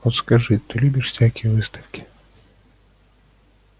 вот скажи ты любишь всякие выставки